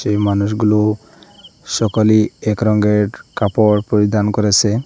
সেই মানুষগুলো সকলেই এক রঙের কাপড় পরিধান করেসে।